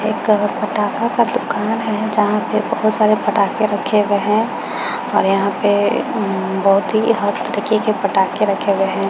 एक अ पटाखा का दुकान है जहाँ पे बहोत सारे पटाखे रखे हुए है और यहाँ पे म बहोत ही हर तरीके के पटाखे रखे हुए हैं।